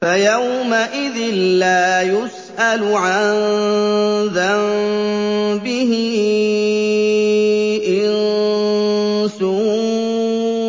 فَيَوْمَئِذٍ لَّا يُسْأَلُ عَن ذَنبِهِ إِنسٌ